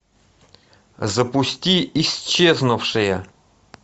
запусти исчезнувшая